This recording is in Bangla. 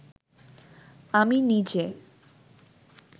আমি নিজে